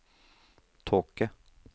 tåke